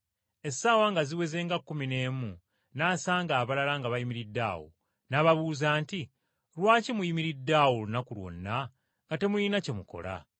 Essaawa nga ziweze nga kkumi n’emu n’asanga abalala nga bayimiridde awo, n’ababuuza nti, ‘Lwaki muyimiridde awo olunaku lwonna nga temulina kye mukola?’